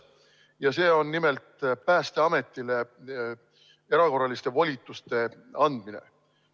Ja see on nimelt Päästeametile erakorraliste volituste andmine.